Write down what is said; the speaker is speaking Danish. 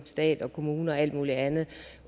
stat kommuner og alt muligt andet